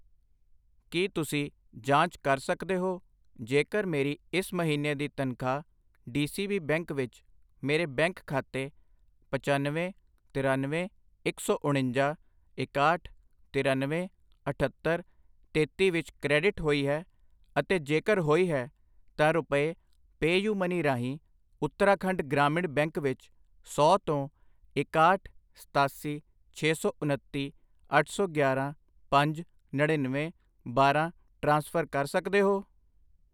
ਕਿ ਤੁਸੀਂਂ ਜਾਂਚ ਕਰ ਸਕਦੇ ਹੋ ਜੇਕਰ ਮੇਰੀ ਇਸ ਮਹੀਨੇ ਦੀ ਤਨਖਾਹ ਡੀਸੀਬੀ ਬੈਂਕ ਵਿੱਚ ਮੇਰੇ ਬੈਂਕ ਖਾਤੇ ਪਚੱਨਵੇਂ, ਤਿਰਨਵੇਂ, ਇੱਕ ਸੌ ਉਣੰਜਾ, ਇਕਾਹਠ, ਤਿਰਨਵੇਂ, ਅਠੱਤਰ, ਤੇਤੀ ਵਿੱਚ ਕ੍ਰੈਡਿਟ ਹੋਈ ਹੈ, ਅਤੇ ਜੇਕਰ ਹੋਈ ਹੈ, ਤਾਂ ਰੁਪਏ ਪੈਯੁਮਨੀ ਰਾਹੀਂ ਉੱਤਰਾਖੰਡ ਗ੍ਰਾਮੀਣ ਬੈਂਕ ਵਿੱਚ ਸੌ ਤੋਂ ਇਕਾਹਠ, ਸਤਾਸੀ, ਛੇ ਸੌ ਉਨੱਤੀ, ਅੱਠ ਸੌ ਗਿਆਰਾਂ, ਪੰਜ, ਨੜਿਨਵੇਂ, ਬਾਰਾਂ ਟ੍ਰਾਂਸਫਰ ਕਰ ਸਕਦੇ ਹੋ ?